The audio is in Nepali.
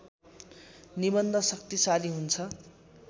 निबन्ध शक्तिशाली हुन्छ